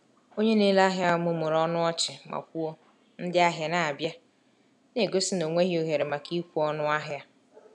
Onye na-ere ahịa mụmụrụ ọnụ ọchị ma kwuo, “Ndị ahịa na-abịa,” na-egosi na ọ nweghị ohere maka ịkwụ ọnụ ahịa.